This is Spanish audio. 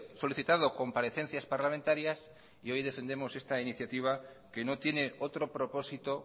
solicitado comparecencias parlamentarias y hoy defendemos esta iniciativa que no tiene otro propósito